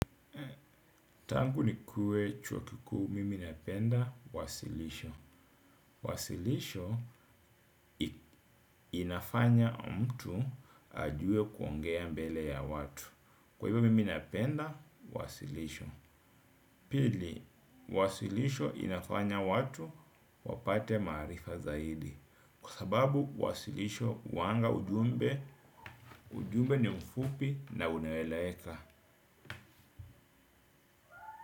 Tangu nikue chuo kikuu, mimi napenda wasilisho. Wasilisho inafanya mtu ajue kuongea mbele ya watu. Kwa hivyo mimi napenda wasilisho. Pili, wasilisho inafanya watu wapate maarifa zaidi. Kwa sababu wasilisho huanga ujumbe, ujumbe ni mfupi na unaeleweka.